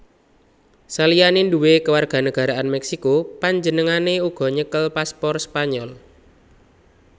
Saliyané nduwé kewarganagaraan Meksiko panjenengané uga nyekel paspor Spanyol